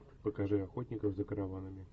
покажи охотников за караванами